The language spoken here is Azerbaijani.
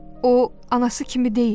O, anası kimi deyildi.